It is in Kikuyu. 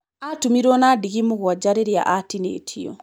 Atumirwo na ndigi mũgwaja rĩrria atinĩtio.